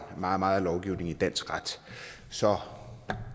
meget lovgivning i dansk ret så